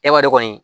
E b'a dɔn kɔni